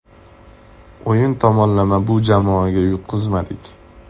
O‘yin tomonlama bu jamoaga yutqazmadik.